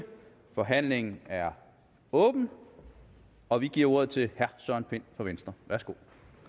forhandlingen er åbnet og vi giver ordet til herre søren pind fra venstre værsgo